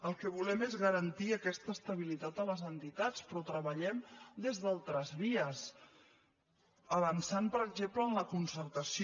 el que volem és garantir aquesta estabili·tat a les entitats però treballem des d’altres vies avan·çant per exemple en la concertació